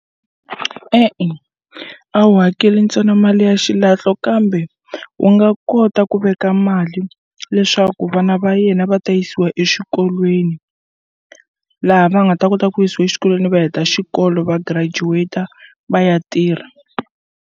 E-e a wu hakeli ntsena mali ya xilahlo kambe u nga kota ku veka mali leswaku vana va yena va ta yisiwa exikolweni laha va nga ta kota ku yisiwa exikolweni va heta xikolo va graduate va ya tirha.